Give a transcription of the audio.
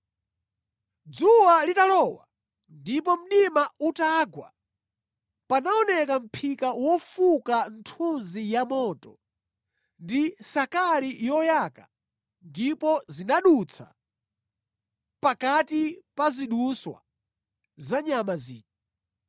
Dzuwa litalowa ndipo mdima utagwa, panaoneka mʼphika wofuka nthunzi ya moto ndi sakali yoyaka ndipo zinadutsa pakati pa zidutswa za nyama zija.